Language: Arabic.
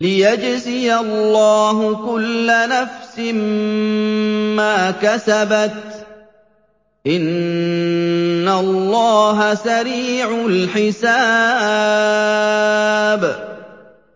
لِيَجْزِيَ اللَّهُ كُلَّ نَفْسٍ مَّا كَسَبَتْ ۚ إِنَّ اللَّهَ سَرِيعُ الْحِسَابِ